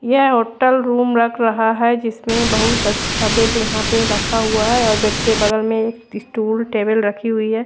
यह hotel room लग रहा है जिसमें बहोत अच्छा बेड यहां पे रखा हुआ हैं और बेड के बगल में स्टूल टेबल रखी हुई है।